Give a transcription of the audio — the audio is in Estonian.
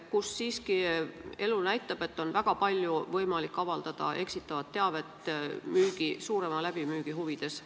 Elu siiski näitab, et seal on suurema läbimüügi huvides võimalik avaldada väga palju eksitavat teavet.